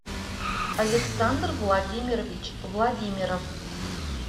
александр владимирович владимиров